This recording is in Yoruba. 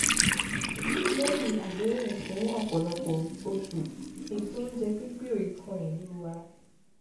lẹ́yìn àdẹ́hùn fún ọ̀pọ̀lọpọ̀ oṣù ètò oúnjẹ pínpín ò ì kan ìlú wa